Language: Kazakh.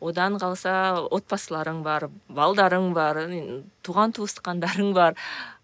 одан қалса отбасыларың бар балаларың бар туған туысқандарың бар